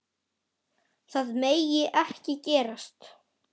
Það megi ekki gerast.